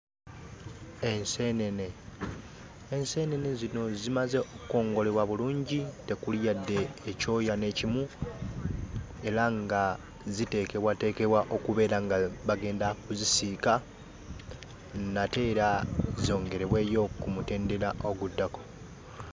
Enseenene, enseenene zino zimaze okukongolebwa bulungi tekuli yadde ekyoya n'ekimu era nga ziteekebwateekebwa okubeera nga bagenda kuzisiika nate era zongerebweyo ku mutendera oguddako.